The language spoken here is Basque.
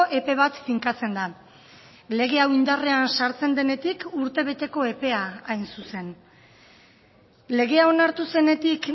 epe bat finkatzen da lege hau indarrean sartzen denetik urtebeteko epea hain zuzen legea onartu zenetik